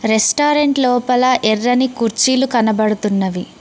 Restaurant లోపల ఎర్రని కుర్చీలు కనబడుతున్నవి.